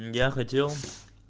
я хотел